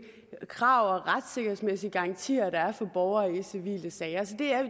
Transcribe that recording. krav og retssikkerhedsmæssige garantier der er for borgere i civile sager så det er